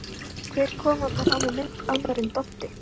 Hver kom þarna fram á mynd annar en Doddi!